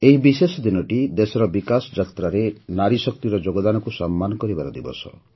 ଏହି ବିଶେଷ ଦିନଟି ଦେଶର ବିକାଶ ଯାତ୍ରାରେ ନାରୀ ଶକ୍ତିର ଯୋଗଦାନକୁ ସମ୍ମାନ କରିବାର ଦିବସ